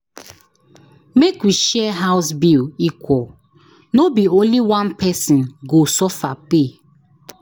Make we share house bill equal, no be only one person go suffer pay.